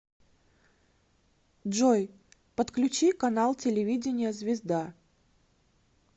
джой подключи канал телевидения звезда